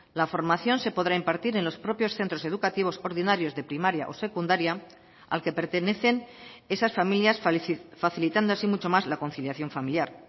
la formación se podrá impartir en los propios centros educativos ordinarios de primaria o secundaria al que pertenecen esas familias facilitando así mucho más la conciliación familiar